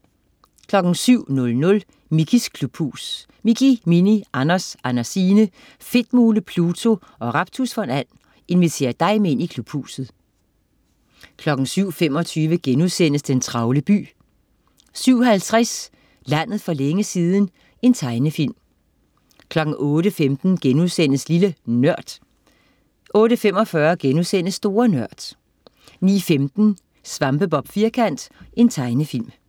07.00 Mickeys klubhus. Mickey, Minnie, Anders, Andersine, Fedtmule, Pluto og Raptus von And inviterer dig med ind i Klubhuset 07.25 Den travle by* 07.50 Landet for længe siden. Tegnefilm 08.15 Lille NØRD* 08.45 Store Nørd* 09.15 Svampebob Firkant. Tegnefilm